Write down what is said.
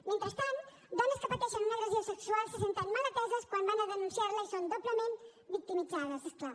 mentrestant dones que pateixen una agressió sexual se senten mal ateses quan van a denunciar la i són doblement victimitzades és clar